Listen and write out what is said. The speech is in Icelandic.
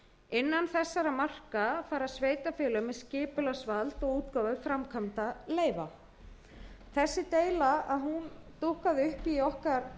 innan þessara marka fara sveitarfélög með skipulagsvald og útgáfu framkvæmdaleyfa þessi deila dúkkaði upp í okkar